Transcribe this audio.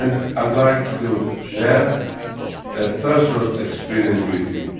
I would like to share personal experience with you.